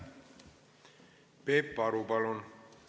Peep Aru, palun!